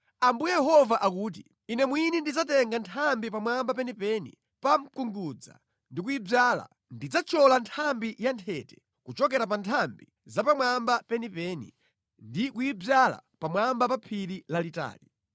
“ ‘Ambuye Yehova akuti: Ine mwini ndidzatenga nthambi pamwamba penipeni pa mkungudza ndi kuyidzala; ndidzathyola nthambi yanthete kuchokera pa nthambi zapamwamba penipeni ndi kuyidzala pamwamba pa phiri lalitali.